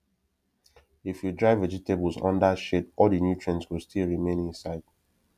if you dry vegetables under shade all the nutrients go still remain inside